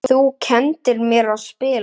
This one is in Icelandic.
Þú kenndir mér að spila.